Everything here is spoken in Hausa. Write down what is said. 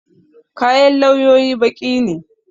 Kayan lauyoyi baƙi ne.